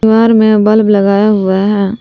दीवार में बल्ब लगाया हुआ है।